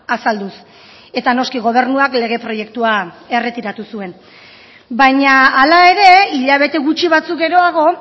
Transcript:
azalduz eta noski gobernuak lege proiektua erretiratu zuen baina hala ere hilabete gutxi batzuk geroago